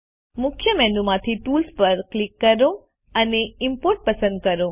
મુખ્ય મેનુ માંથી ટૂલ્સ પર ક્લિક કરો અને ઇમ્પોર્ટ પસંદ કરો